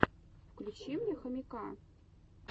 включи мне хомяка